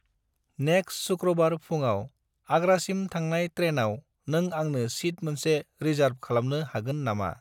Next सुख्रुबार फुङाव आग्रासिम थांनाय ट्रेनआव नों आंनो सिट मोनसे रिसार्ब खालामनो हागोन नामा?